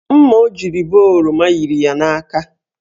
Mma ọ jiri bee oroma yiri ya n'aka.